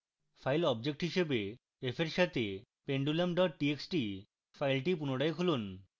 file object হিসাবে f re সাথে pendulum txt file পুনরায় খুলুন